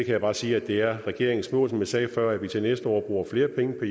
jeg bare sige at det er regeringens mål som jeg sagde før at vi til næste år bruger flere penge på